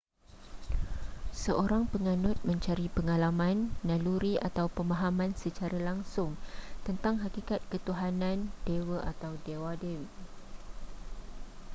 seorang penganut mencari pengalaman naluri atau pemahaman secara langsung tentang hakikat ketuhanan/dewa atau dewa-dewi